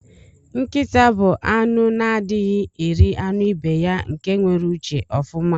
Nkita bu anụ na adighi eri anụ ibeya nke nwere uche ofụma.